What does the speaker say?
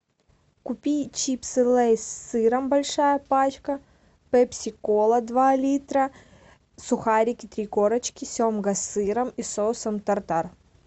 купи чипсы лейс с сыром большая пачка пепси кола два литра сухарики три корочки семга с сыром и соусом тартар